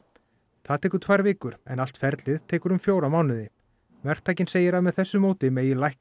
það tekur tvær vikur en allt ferlið tekur um fjóra mánuði verktakinn segir að með þessu móti megi lækka